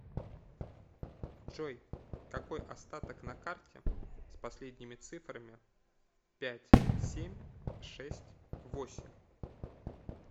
джой какой остаток на карте с последними цифрами пять семь шесть восемь